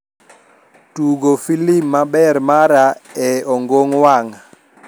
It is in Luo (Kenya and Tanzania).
tugo filim maber mara e ongong wang